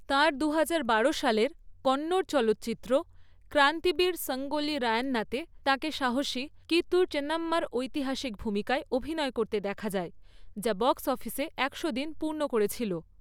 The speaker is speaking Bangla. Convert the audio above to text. তাঁর দু হাজার বারো সালের কন্নড় চলচ্চিত্র ক্রান্তিবীর সাঙ্গোল্লি রায়ন্নাতে তাঁকে সাহসী কিত্তুর চেনাম্মার ঐতিহাসিক ভূমিকায় অভিনয় করতে দেখা যায়, যা বক্স অফিসে একশো দিন পূর্ণ করেছিল।